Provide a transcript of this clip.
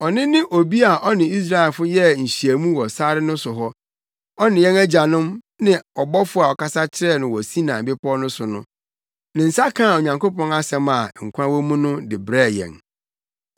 Ɔno ne obi a ɔne Israelfo yɛɛ nhyiamu wɔ sare no so hɔ; ɔne yɛn agyanom ne ɔbɔfo a ɔkasa kyerɛɛ wɔn wɔ Sinai Bepɔw no so no. Ne nsa kaa Onyankopɔn asɛm a nkwa wɔ mu no de brɛɛ yɛn.